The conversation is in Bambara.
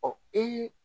Ɔ ee